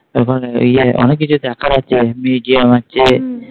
তখন ইয়ে অনেক কিছু দেখার আছে আছে।